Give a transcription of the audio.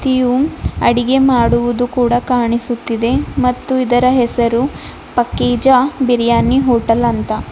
ಇವು ಅಡುಗೆ ಮಾಡುವುದು ಕೂಡ ಕಾಣಿಸುತ್ತಿದೆ ಮತ್ತು ಇದರ ಹೆಸರು ಪಕ್ಕಿಜ ಬಿರಿಯಾನಿ ಹೋಟೆಲ್ ಅಂತ.